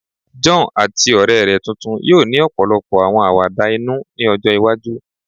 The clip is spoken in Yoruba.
John ati ọrẹ rẹ tuntun yoo ni ọpọlọpọ awọn awada inu ni ọjọ iwaju